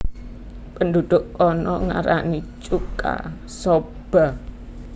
Penduduk kana ngarani chuka soba